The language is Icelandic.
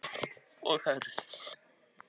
Biður hana um að vera sterk.